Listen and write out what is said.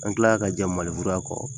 An kila la ka jɛn maneburuya kɔ.